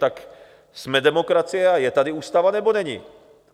Tak jsme demokracie a je tady ústava, nebo není?